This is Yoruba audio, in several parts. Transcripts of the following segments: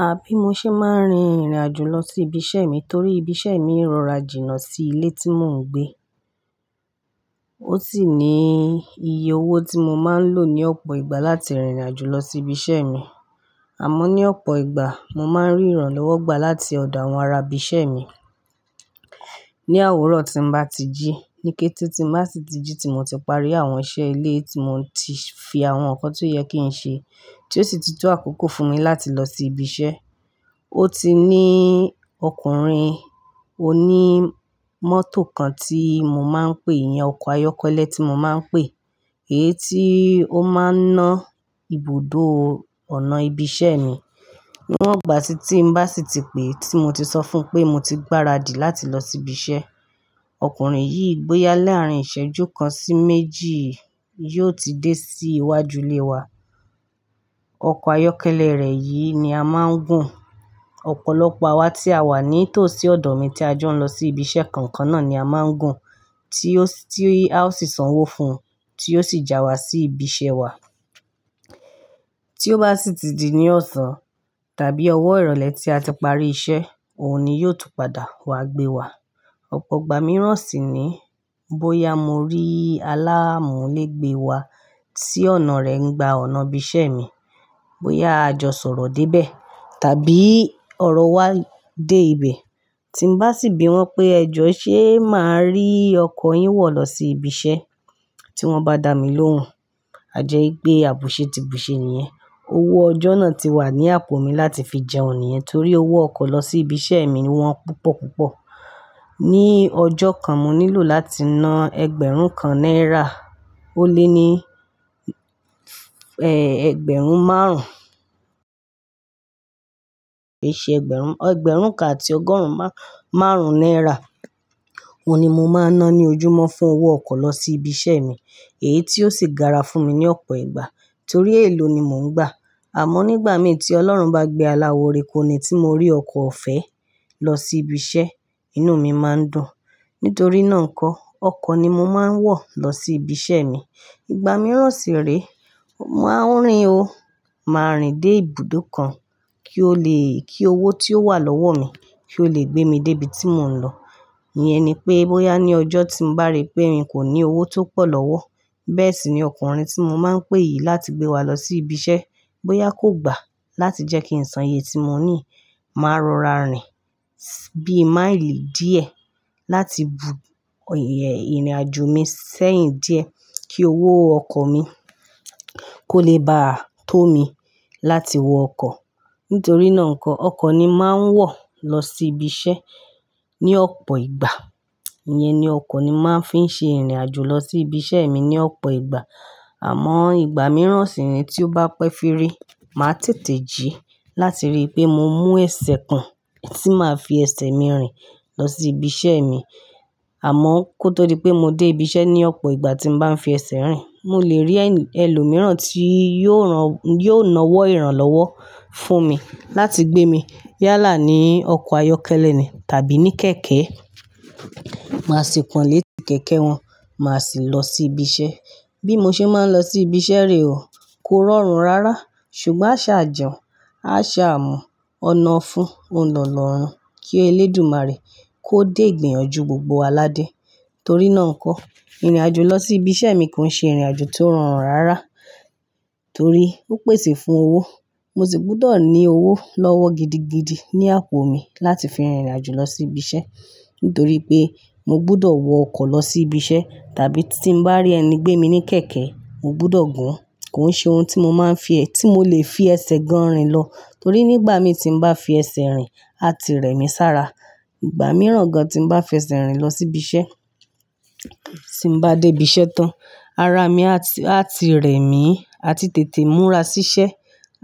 À bí mo ṣe máa ń rin ìrìnàjò lọ sí ibi iṣẹ́ mi torí ibi iṣẹ́ mi rọra jìnnà sí ilé tí mò ń gbé. Ó sì ní iye owó tí mo máa ń lò ní ọ̀pọ̀ ìgbà láti rìnrìn àjò lọ sí ibi iṣẹ́ mi. Àmọ́ ní ọ̀pọ̀ ìgbà mo máa ń rí ìrànlọ́wọ́ gbà láti ọ̀dọ̀ àwọn ará ibi iṣẹ́ mi. Ní òwúrọ̀ tí n bá ti jí, ní kété tí má sì ti jí tí mò ti parí àwọn iṣẹ́ ilé tí mò tí fi àwọn ọkọ̀ tó yẹ kí n ṣe, tí ó sì ti tó àkókò fún mi láti lọ sí ibi iṣẹ́. Ó ti ní ọkùnrin oní mọ́tò kan tí mo máa ń pè, iyẹn ọkọ̀ ayọ́kẹ́lẹ́ tí mo máa ń pè, èyí tí ó máa ń ná ibùdó ọ̀nà ibi iṣẹ́ mi. Níwọ̀n ìgbà tí tí n bá sì ti pé tí mo ti sọ fún pé mo ti gbáradì láti lọ sí ibi iṣẹ́, ọkùnrin yìí bóyá láàrín ìṣẹ́jú kan sí méjì yóò ti dé sí iwájú ilé wa. Ọkọ̀ ayọ́kẹ́lẹ́ rẹ̀ yìí ni a máa ń gùn. Ọ̀pọ̀lọpọ̀ àwa tí a wà ní tòsí ọ̀dọ̀ mi tí a jọ ń lọ sí ibi iṣẹ́ kan kan náà ni a máa ń gùn, tí ó sì tí a ó sì sanwó fún un tí yóò sì já wa sí ibi iṣẹ́ wa. Tí ó bá sì ti di ní ọ̀sán tàbí ọwọ́ ìrọ̀lẹ́ tí a ti parí iṣẹ́, òun ni yóò tún padà wá gbé wa. Ọ̀pọ̀ ìgbà mìíràn sì ni bóyá mo rí aláamù lé gbé wa sí ọ̀nà rẹ̀ n gba ọ̀nà ibi iṣẹ́ mi, bóyá a jọ sọ̀rọ̀ dé bẹ́ẹ̀ tàbí ọ̀rọ̀ wa dé ibẹ̀, tí n bá sì bi wọ́n pé ẹ jọ ṣé máa rí ọkọ̀ yín wọ̀ lọ sí ibi iṣẹ́, tí wọ́n bá dà mí lóhùn, a jẹ́ pé àbùsẹ́ tìbùsẹ́ nìyẹn. Owó ọjọ́ náà ti wà ní àpò mi láti fi jẹun nìyẹn torí owó ọkọ̀ lọ sí ibi iṣẹ́ mi wọn púpọ̀ púpọ̀. Ní ọjọ́ kan, mo nílò láti ná ẹgbẹ̀rún kan náírà ó lé ní ẹ, ẹgbẹ̀rún márùn. Ki ṣe ẹgbẹ̀rún, ẹgbẹ̀rún kan àti ọgọ́rùn márùn náírà, òun ni mo máa ń ná ní ojúmọ́ fún owó ọkọ̀ lọ sí ibi iṣẹ́ mi, èyí tí ó sì gara fún mi ní ọ̀pọ̀ ìgbà torí èèló ni mò ń gbà. Àmọ́ nígbà mi tí Ọlọ́run bá gbé aláwo re kó ni tí mo rí ọkọ̀ ọ̀fẹ́ lọ sí ibi iṣẹ́, inú mi máa ń dùn. Nítorí náà ńkọ́, ọkọ̀ ni mo máa ń wọ̀ lọ sí ibi iṣẹ́ mi. Ìgbà mìíràn sì rèé, màá ń rin o, màá rìn dé ibùdó kàn, kí ó lè kí owó tí ó wà lọ́wọ́ mi kí ó lè gbé mi dé ibi tí mò ń lọ. Iyẹn ni pé bóyá ní ọjọ́ tí n bá rí pé n kò ní owó tó pọ̀ lọ́wọ́, bẹ́ẹ̀ sì ni ọkùnrin tí mo máa ń pè yìí láti gbé wa lọ sí ibi iṣẹ́, bóyá kò gbà láti jẹ́ kí n san iye tí mo ní, màá rọra rìn bí máìlì díẹ̀ láti bù ìrìn àjò mi sẹ́yìn díẹ̀ kí owó ọkọ̀ mi kó lè bá tó mi láti wọ ọkọ̀. Nítorí náà ńkọ́, ọkọ̀ ni màá ń wọ̀ lọ sí ibi iṣẹ́ ní ọ̀pọ̀ ìgbà. Iyẹn ni ọkọ̀ ni màá ń fi ń ṣe ìrìnàjò lọ sí ibi iṣẹ́ mi ní ọ̀pọ̀ ìgbà. Àmọ́ ìgbà mìíràn sì ni tí ó bá pẹ́ firi, màá tètè jí láti rí pé mo mú ẹsẹ̀ kan tí màá fi ẹsẹ̀ mi rìn lọ sí ibi iṣẹ́ mi. Àmọ́ kó tó di pé mo dé ibi iṣẹ́ ní ọ̀pọ̀ ìgbà tí n bá ń fi ẹsẹ̀ rìn, mo lè rí ẹni, ẹlòmíràn tí yóò rán, yóò nawọ́ ìrànlọ́wọ́ fún mi láti gbé mi yálà ní ọkọ̀ ayọ́kẹ́lẹ́ ni tàbí ní kẹ̀kẹ́. Màá sì pọn lé kẹ̀kẹ́ wọn, màá sì lọ sí ibi iṣẹ́. Bí mo ṣe máa ń lọ sí ibi iṣẹ́ rèé ò, kó rọrùn rárá ṣùgbọ́n a ṣà jẹun, a ṣà mú ọ̀nà fún oun lọ́nà ọ̀run kí elédùmarè kó dé igbìyànjú gbogbo wa ládé. Torí náà ńkọ́, ìrìn àjò lọ sí ibi iṣẹ́ mi kò ń ṣe ìrìn àjò tí ó rọrùn rárá, torí ó pèsè fún owó, mo sì gbọdọ̀ ní owó lọ́wọ́ gidigidi ní àpò mi láti fi rìnrìn àjò lọ sí ibi iṣẹ́. Nítorí pé mo gbọdọ̀ wọ ọkọ̀ lọ sí ibi iṣẹ́, tàbí tí n bá rí ẹni gbé mi ní kẹ̀kẹ́, mo gbọdọ̀ gùn. Kò ń ṣe ohun tí mo máa ń fi ẹ, tí mo lè fi ẹsẹ̀ gan rìn lọ torí nígbà mi tí n bá fi ẹsẹ̀ rìn, a ti rẹ̀ mí sára. Ìgbà mìíràn gan tí n bá fi ẹsẹ̀ rìn lọ sí ibi iṣẹ́, tí n bá dé ibi iṣẹ́ tán, ara mi a ti, a ti rẹ̀ mí àti tètè múra sí iṣẹ́.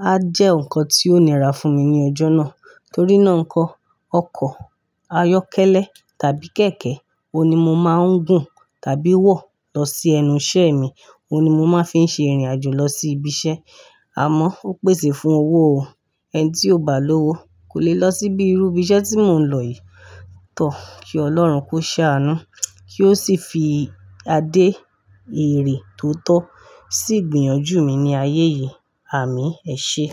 A jẹ́ nǹkan tí ó nira fún mi ní ọjọ́ náà. Torí náà ńkọ́, ọkọ̀ ayọ́kẹ́lẹ́ tàbí kẹ̀kẹ́ òun ni mo máa ń gùn tàbí wọ̀ lọ sí ẹnu iṣẹ́ mi. Òun ni mo máa ń fi ṣe ìrìn àjò lọ sí ibi iṣẹ́. Àmọ́ ó pèsè fún owó o, ẹni tí ò bá ní owó kò lè lọ síbí irú ibi iṣẹ́ tí mò ń lọ yìí. Tọ́, kí Ọlọ́run kó ṣáá nù kí ó sì fi adé ére tó tọ́ sí ìgbìyànjú mi ní ayé yìí. Àmín. Ẹ ṣé.